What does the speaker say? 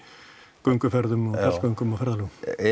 gönguferðum og fjallgöngum og ferðalögum